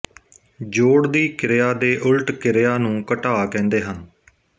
ਜੋੜ ਦੀ ਕਿਰਿਆ ਦੇ ਉਲਟ ਕਿਰਿਆ ਨੂੰ ਘਟਾਅ ਕਹਿੰਦੇ ਹਨ